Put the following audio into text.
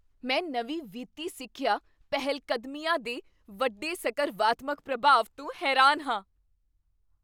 ਮੈਂ ਨਵੀਂ ਵਿੱਤੀ ਸਿੱਖਿਆ ਪਹਿਲਕਦਮੀਆਂ ਦੇ ਵੱਡੇ ਸਕਰਵਾਤਮਕ ਪ੍ਰਭਾਵ ਤੋਂ ਹੈਰਾਨ ਹਾਂ।